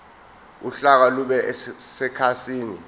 uhlaka lube sekhasini